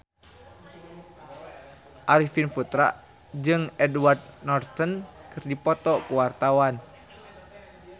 Arifin Putra jeung Edward Norton keur dipoto ku wartawan